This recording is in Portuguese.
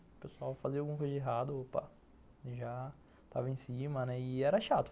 O pessoal fazia alguma coisa errada, opa, já estava em cima, né, e era chato.